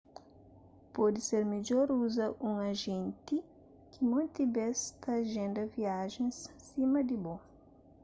pode ser midjor uza un ajénti ki monti bês ta ajenda viajen sima di bo